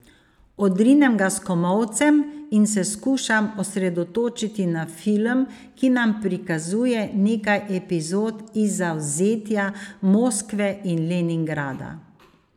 Odrinem ga s komolcem in se skušam osredotočiti na film, ki nam prikazuje nekaj epizod iz zavzetja Moskve in Leningrada.